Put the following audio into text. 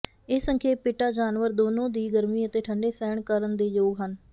ਇਹ ਸੰਖੇਪ ਪਿਟਾ ਜਾਨਵਰ ਦੋਨੋ ਦੀ ਗਰਮੀ ਅਤੇ ਠੰਡੇ ਸਹਿਣ ਕਰਨ ਦੇ ਯੋਗ ਹਨ